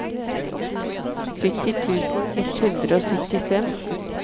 sytti tusen ett hundre og syttifem